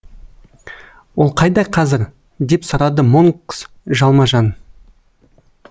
ол қайда қазір деп сұрады монкс жалма жан